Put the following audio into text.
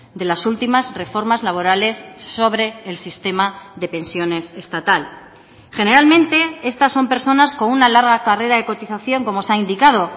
de las últimas reformas laborales sobre el sistema de pensiones estatal generalmente estas son personas con una larga carrera de cotización como se ha indicado